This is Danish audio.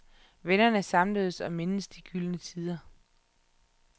Vennerne samledes og mindedes de gyldne tider.